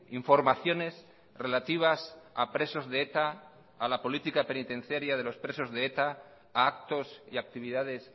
informaciones relativas a presos de eta a la política penitenciaria de los presos de eta a actos y actividades